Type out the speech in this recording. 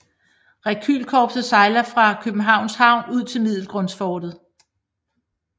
Rekylkorpset sejler fra Københavns Havn ud til Middelgrundsfortet